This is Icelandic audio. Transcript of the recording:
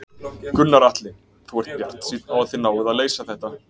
Gunnar Atli: Þú ert bjartsýn á að þið náið að leysa þetta?